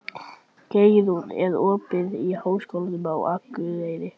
Geirrún, er opið í Háskólanum á Akureyri?